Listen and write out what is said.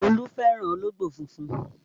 Olú fẹ́ràn ológbò funfun